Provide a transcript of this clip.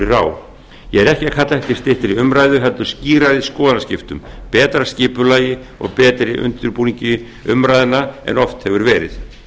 er á ég er ekki að kalla eftir styttri umræðum heldur skýrari skoðanaskiptum betra skipulagi og betri undirbúningi umræðna en oft hefur verið